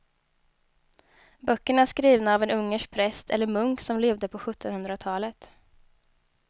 Böckerna är skrivna av en ungersk präst eller munk som levde på sjuttonhundratalet.